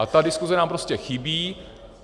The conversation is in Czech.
A ta diskuse nám prostě chybí.